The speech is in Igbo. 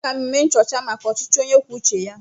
Aga m eme nchọcha maka ọchịchị onye kwuo uche ya.